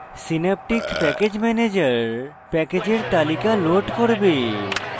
synaptic package manager প্যাকেজের তালিকা load করবে